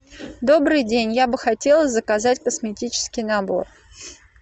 добрый день я бы хотела заказать косметический набор